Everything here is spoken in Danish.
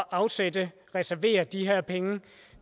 afsætte reservere de her penge